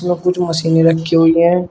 और कुछ मशीने रखी हुई है।